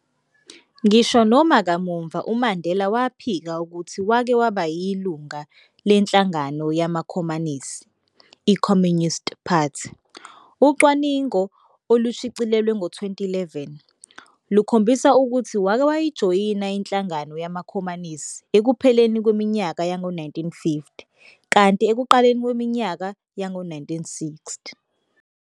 Ngisho noma kamuva uMandela waphika ukuthi wake waba yilunga lenhlangano yamakhomanisi, i-Communist Party, ucwaningo olwashicilelwa ngo-2011, lukhombisa ukuthi wake wayijoyina inhlangano yamakhomanisi ekupheleni kweminyaka yango-1950, kanti ekuqaleni kweminyaka yango-1960.